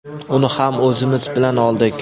uni ham o‘zimiz bilan oldik.